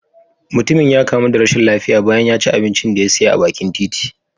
Mutumin ya kamu da rashin lafiya bayan ya ci abincin da ya siya a bakin titi.